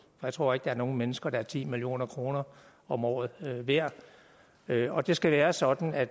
jeg tror ikke der er nogen mennesker der er ti million kroner om året værd værd og det skal være sådan at